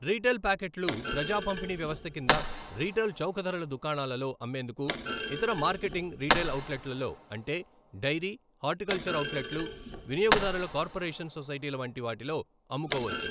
Retail పాకెట్లు ప్రజా పంపిణీ వ్యవస్థ కింద రిటైల్ చౌకధరల దుకాణాలలో అమ్మేందుకు ఇతర మార్కెటింగ్ రిటైల్ ఔట్లెట్లలో అంటే డైరీ, హార్టికల్చర్ ఔట్లెట్లు, వినియోగదారుల కార్పొరేషన్ సొసైటీల వంటి వాటిలో అమ్ముకోవచ్చు.